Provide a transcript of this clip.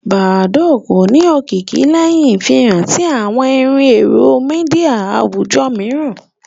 Badoo kò ní òkìkí léhìn ìfihàn ti àwọn ìrù èrò media àwùjọ míìràn